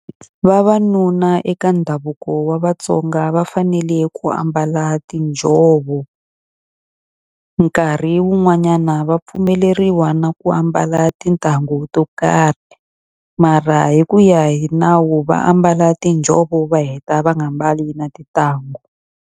Vavanuna eka ndhavuko wa Vatsonga va fanele ku ambala tinjhovo. Nkarhi wun'wanyana va pfumeleriwa na ku ambala titangu to karhi. Mara hi ku ya hi nawu va ambala tinjhovo va heta va nga mbali na tintangu.